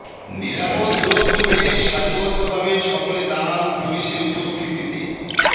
নিরাপদ দূরত্ব মেনে সারিবদ্ধ ভাবে সকলে দাঁড়ান পুলিশের উপস্থিতিতে